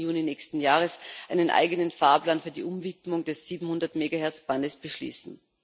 30. Juni nächsten Jahres einen eigenen Fahrplan für die Umwidmung des 700 Megahertz Bandes beschließen.